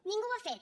ningú ho ha fet